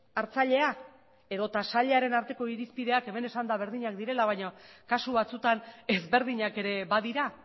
hartzailea edota sailaren arteko irizpideak hemen esan da berdinak direla baina kasu batzutan ezberdinak ere badira